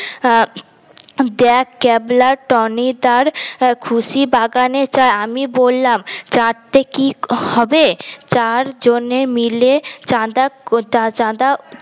আহ দেখ ক্যাবলা টনিদার খুশি বাগানে আমি বললাম চারতে কি হবে চারজনে মিলে চাদা কো চাদা